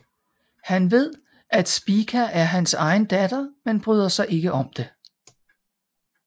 Han ved at Spica er hans egen datter men bryder sig ikke om det